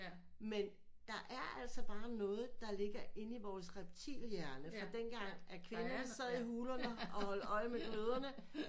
Men der er altså bare noget der ligger inde i vores reptil hjerne fra dengang at kvinderne sad i hulerne og holdt øje med gløderne